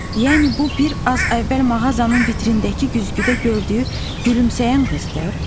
Yəni bu bir az əvvəl mağazanın vitrinindəki güzgüdə gördüyü gülümsəyən qızdır?